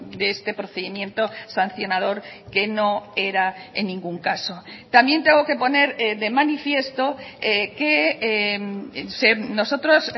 de este procedimiento sancionador que no era en ningún caso también tengo que poner de manifiesto que nosotros